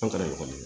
An taara ekɔli la